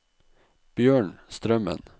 Bjørn Strømmen